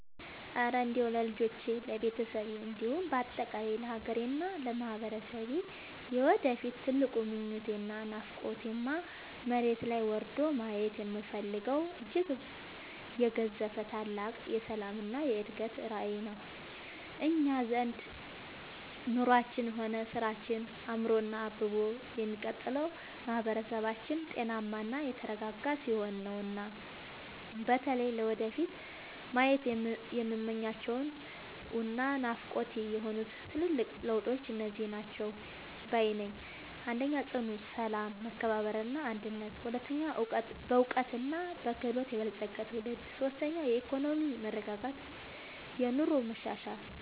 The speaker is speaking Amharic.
እረ እንደው ለልጆቼ፣ ለቤተሰቤ እንዲሁም በአጠቃላይ ለሀገሬና ለማህበረሰቤ የወደፊት ትልቁ ምኞቴና ናፍቆቴማ፣ መሬት ላይ ወርዶ ማየት የምፈልገው እጅግ የገዘፈ ታላቅ የሰላምና የእድገት ራዕይ ነው! እኛ ዘንድ ኑሯችንም ሆነ ስራችን አምሮና አብቦ የሚቀጥለው ማህበረሰባችን ጤናማና የተረጋጋ ሲሆን ነውና። በተለይ ለወደፊቱ ማየት የምመኛቸውና ናፍቆቴ የሆኑት ትልልቅ ለውጦች እነዚህ ናቸው ባይ ነኝ፦ 1. ጽኑ ሰላም፣ መከባበርና አንድነት 2. በዕውቀትና በክህሎት የበለፀገ ትውልድ 3. የኢኮኖሚ መረጋጋትና የኑሮ መሻሻል